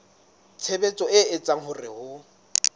tshebetso e etsang hore ho